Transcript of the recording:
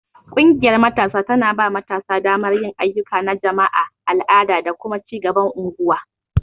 Ƙungiyar Matasa tana ba matasa damar yin ayyuka na jama'a, al'ada, da kuma ci gaban unguwa.